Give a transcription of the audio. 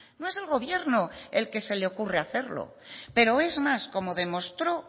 no es el gobierno el que se le ocurre hacerlo pero es más como demostró